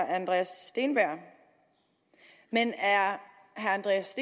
andreas steenberg men er herre andreas